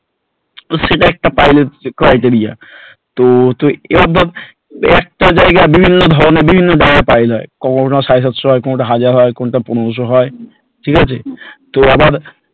সেটাও একটা criteria তো একটা জায়গায় বিভিন্ন ধরনের বিভিন্ন ধরনের piling হয় কোনতা সাড়ে সাতশ হয় কোনটা পনেরোশ হয় কোনটা হাজার হয়, ঠিক আছে তো আবার,